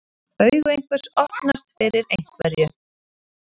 Augu einhvers opnast fyrir einhverju